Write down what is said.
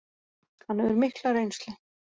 Hann hefur mikla reynslu